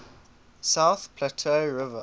south platte river